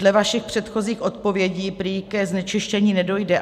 Dle vašich předchozích odpovědí prý ke znečištění nedojde.